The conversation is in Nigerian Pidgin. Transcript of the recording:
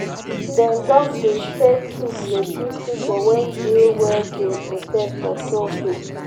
den don dey share food dey give pipu wey dey wey dey protest for toll gate.